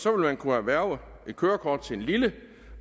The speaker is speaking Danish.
årig kunne erhverve kørekort til lille